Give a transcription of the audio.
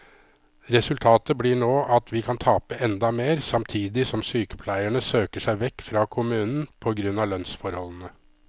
Resultatet blir nå at vi kan tape enda mer, samtidig som sykepleierne søker seg vekk fra kommunen på grunn av lønnsforholdene.